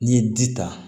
N'i ye ji ta